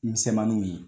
Misɛnmaninw ye